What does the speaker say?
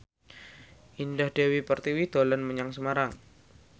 Indah Dewi Pertiwi dolan menyang Semarang